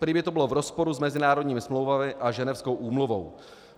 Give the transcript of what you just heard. Prý by to bylo v rozporu s mezinárodními smlouvami a ženevskou úmluvou.